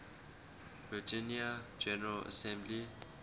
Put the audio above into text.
virginia general assembly